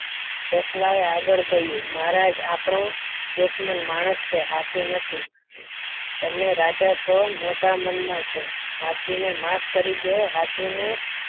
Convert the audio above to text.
સસલા એ આગળ કહ્યું મહારાજ આપનું દુશ્મન માણસ છે હાથી નથી તમે રાજા છો મોટા મનના છો હાથીને માફ કરી દો હાથીને